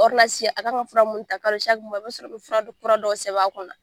Orinasi a kan ka fura minnu ta kalo i b'a sɔrɔ bɛ fura dɔ fura dɔw sɛbɛn a kunna.